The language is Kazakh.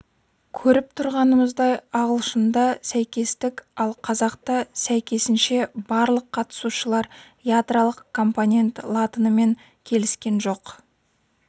көріп тұрғанымыздай ағылшында сәйкестік ал қазақта сәйкесінше барлық қатысушылар ядролық компонент латынымен келіскен жоқ